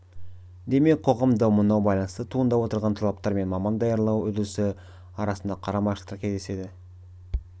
демек қоғам дамуына байланысты туындап отырған талаптар мен маман даярлау үрдісі арасында қарама-қайшылықтар кездеседі